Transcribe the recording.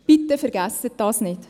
Bitte vergessen Sie dies nicht!